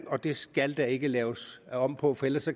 og det skal der ikke laves om på for ellers